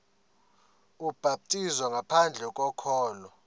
ubhaptizo ngaphandle kokholo